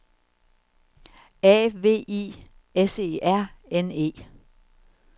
A V I S E R N E